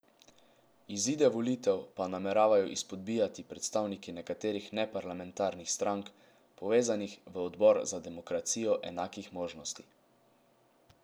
Izide volitev pa nameravajo izpodbijati predstavniki nekaterih neparlamentarnih strank, povezanih v Odbor za demokracijo enakih možnosti.